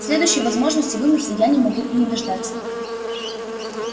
следующей возможности вымыться я могу и не дождаться